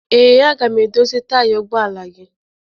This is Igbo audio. Ee, aga m edozi taya ụgbọala gị